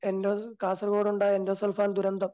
endo Kasaragod ഉണ്ടായ endosulfan ദുരന്തം